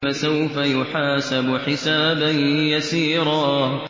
فَسَوْفَ يُحَاسَبُ حِسَابًا يَسِيرًا